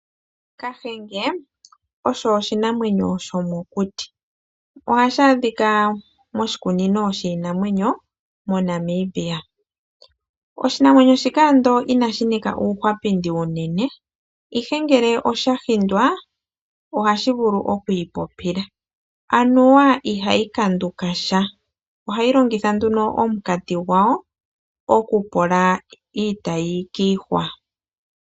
Kahenge, osho oshinamwenyo shomokuti. Ohashi adhika moshikunino shiinamwenyo, moNamibia. Oshinamwenyo shika ando inashi nika uuhwapindi unene, ihe ngele osha hindwa, ohashi vulu okwiipopila. Anuwa ihayi kanduka sha. Ohayi longitha nduno omukati gwayo, okufola iitayi kiihwa.